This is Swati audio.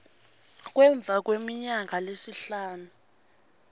emva kweminyaka lesihlanu